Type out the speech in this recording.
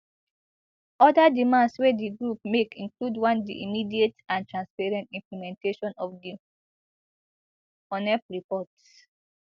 oda demands wey di groups make include one di immediate and transparent implementation of di unep report